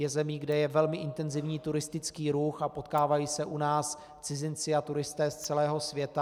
Je zemí, kde je velmi intenzivní turistický ruch, a potkávají se u nás cizinci a turisté z celého světa.